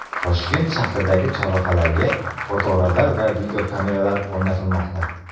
Toshkent shahridagi chorrahalarga fotoradar va videokameralar o‘rnatilmoqda.